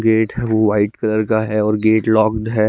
Gate वो white colour का है ओर गेट लॉक्ड है।